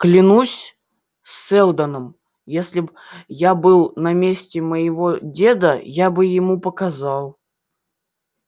клянусь сэлдоном если б я был на месте моего деда я бы ему показал